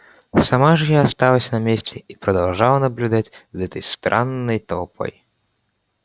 сама же я осталась на месте и продолжала наблюдать за этой странной толпой